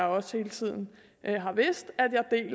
også hele tiden har vidst